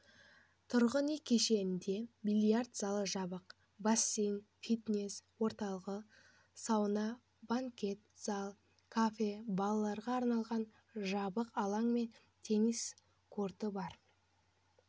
тұрғын үй кешенінде бильярд залы жабық бассейн фитнес орталығы сауна банкет залы кафе балаларға арналған жабық алаң мен теннис корты бар